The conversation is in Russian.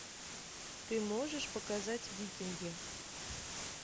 ты можешь показать викинги